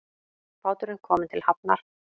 Báturinn kominn til hafnar